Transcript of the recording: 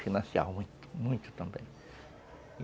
Financiavam muito, muito também.